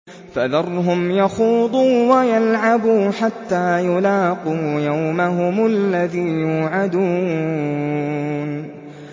فَذَرْهُمْ يَخُوضُوا وَيَلْعَبُوا حَتَّىٰ يُلَاقُوا يَوْمَهُمُ الَّذِي يُوعَدُونَ